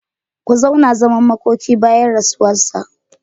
Ku zauna zaman makoki bayan rasuwarsa.